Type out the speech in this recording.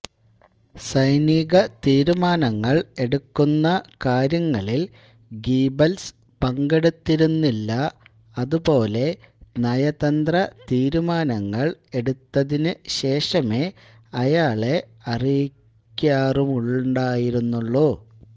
സൈനികതീരുമാനങ്ങൾ എടുക്കുന്നകാര്യങ്ങളിൽ ഗീബൽസ് പങ്കെടുത്തിരുന്നില്ല അതുപോലെ നയതന്ത്രതീരുമാനങ്ങൾ എടുത്തതിനുശേഷമേ അയാളെ അറിയിക്കാറുമുണ്ടായിരുന്നുള്ളൂ